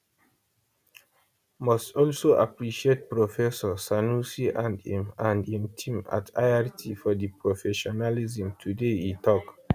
must also appreciate professor sanusi and im and im team at irt for di professionalism today e tok